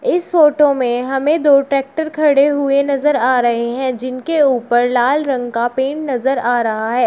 इस फोटो में हमें दो ट्रैक्टर खड़े हुए नजर आ रहे हैं जिनके ऊपर लाल रंग का पेंट नजर आ रहा है।